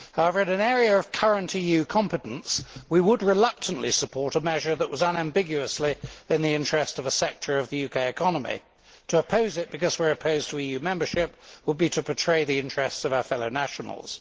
However in an area of current EU competence we would reluctantly support a measure that was unambiguously in the interest of a sector of the UK economy. To oppose it because we are opposed to EU membership would be to betray the interests of our fellow nationals.